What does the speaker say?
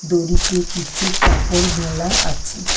দড়িতে কিছু কাপড় মেলা আছে।